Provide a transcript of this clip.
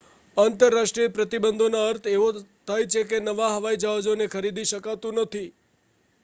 આંતરરાષ્ટ્રીય પ્રતિબંધોનો અર્થ એવો થાય છે કે નવા હવાઈ જહાજને ખરીદી શકાતું નથી